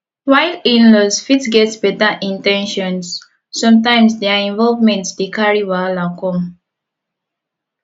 while inlaws fit get better in ten tions sometimes their involvement dey carry wahala come